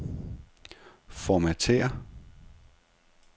Formatér.